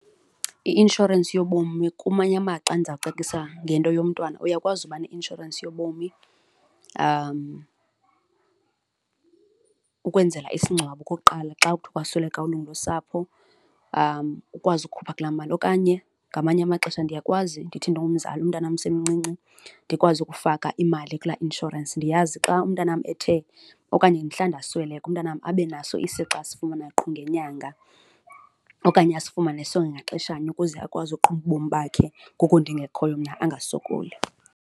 I-inshorensi yobomi kumanye amaxa ndiza kucacisa ngento yomntwana, uyakwazi uba ne-inshorensi yobomi ukwenzela isingcwabo okokuqala xa ukuthi kwasweleka ilungu losapho, ukwazi ukukhupha kulaa mali okanye ngamanye amaxesha ndiyakwazi ndithi ndingumzali umntanam usemncinci ndikwazi ukufaka imali kulaa insurance, ndiyazi xa umntanam ethe okanye mhla ndasweleka, umntanam abe naso isixa asifumana qho ngenyanga okanye asifumane sonke ngaxeshanye ukuze akwazi ukuqhuba ubomi bakhe ngoku ndingekhoyo mna angasokoli.